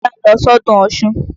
Bọ́lá ń lọ sọ́dún Ọ̀ṣun.